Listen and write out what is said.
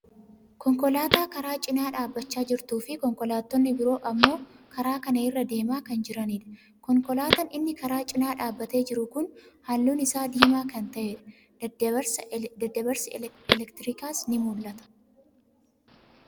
Konkolaataa karaa cinaa dhaabbachaa jirtuu fi konkolaattonni biroo ammoo karaa kana irra deemaa kan jiranidha. Konkolaataan inni karaa cinaa dhaabbatee jiru kun halluun isaa diimaa kan ta'edha. Daddabarsi elektirikaas ni mul'ata.